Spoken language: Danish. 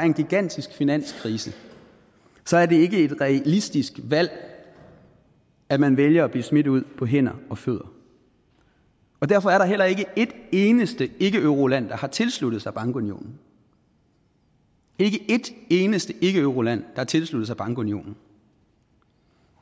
er en gigantisk finanskrise så er det ikke et realistisk valg at man vælger at blive smidt ud på hænder og fødder derfor er der heller ikke et eneste ikkeeuroland der har tilsluttet sig bankunionen ikke et eneste ikkeeuroland har tilsluttet sig bankunionen